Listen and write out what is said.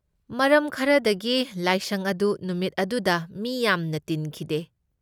ꯃꯔꯝ ꯈꯔꯗꯒꯤ ꯁꯥꯏꯁꯪ ꯑꯗꯨ ꯅꯨꯃꯤꯠ ꯑꯗꯨꯗ ꯃꯤ ꯌꯥꯝꯅ ꯇꯤꯟꯈꯤꯗꯦ꯫